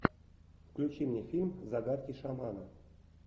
включи мне фильм загадки шамана